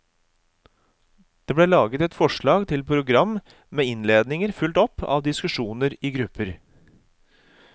Det ble laget forslag til program med innledninger fulgt opp av diskusjoner i grupper.